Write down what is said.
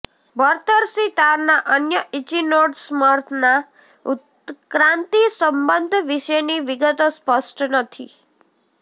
બરતરસી તારના અન્ય ઇચિનોડર્મ્સના ઉત્ક્રાંતિ સંબંધ વિશેની વિગતો સ્પષ્ટ નથી